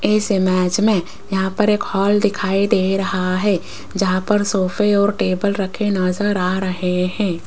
इस इमेज में यहां पर एक हॉल दिखाई दे रहा है जहां पर सोफे और टेबल रखे नजर आ रहे हैं।